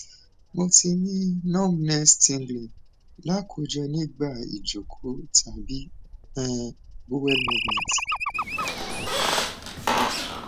mo ti ni numbnesstingling lakoko nigba ijoko tabi um bowel movement